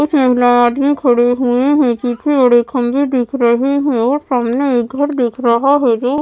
आदमी खड़े हुए हैं पीछे बड़े खम्भे दिख रहे हैं और सामने एक घर दिख रहा है जो --